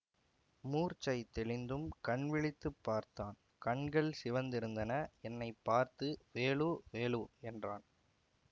மூர்ச்சை தெளிந்தும் கண் விழித்து பார்த்தான் கண்கள் சிவந்திருந்தன என்னை பார்த்து வேலு வேலு என்றான்